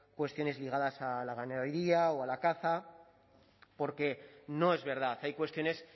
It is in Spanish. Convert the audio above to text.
cuestiones ligadas a la ganadería o a la caza porque no es verdad hay cuestiones